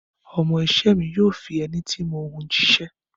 Ọmọ iṣẹ́ mi yóò fi ẹní tí mo hun jíṣẹ́.